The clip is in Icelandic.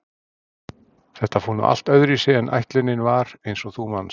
Þetta fór nú allt öðruvísi en ætlunin var eins og þú manst